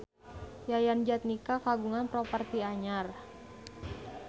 Yayan Jatnika kagungan properti anyar